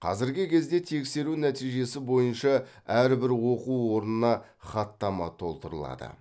қазіргі кезде тексеру нәтижесі бойынша әрбір оқу орнына хаттама толтырылады